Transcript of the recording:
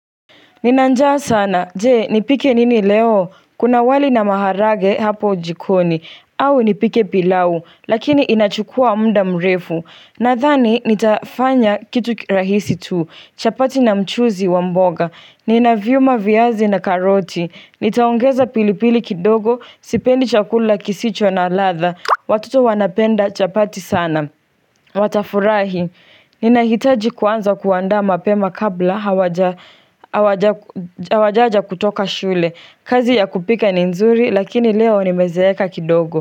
Ninanjaa sana, jee, nipike nini leo? Kuna wali na maharage hapo jikoni, au nipike pilau, lakini inachukua mda mrefu. Nathani, nitafanya kitu rahisi tu, chapati na mchuzi wa mboga, ninaviuma viazi na karoti, nitaongeza pilipili kidogo, sipendi chakula kisicho na latha, watoto wanapenda chapati sana. Watafurahi, ninahitaji kuanza kuanda mapema kabla hawajaja kutoka shule, kazi ya kupika ni nzuri lakini leo ni mezeeka kidogo.